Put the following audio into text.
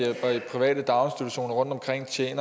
tage sit